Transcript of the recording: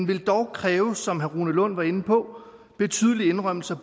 vil dog kræve som herre rune lund var inde på betydelige indrømmelser